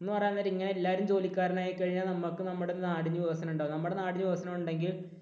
എന്നു പറയാൻ നേരം ഇങ്ങനെ എല്ലാവരും ജോലിക്കാരനായി കഴിഞ്ഞാൽ നമുക്ക് നമ്മുടെ നാടിനു വികസനം ഉണ്ടാവില്ല. നമ്മുടെ നാടിനു വികസനം ഉണ്ടാകണമെങ്കിൽ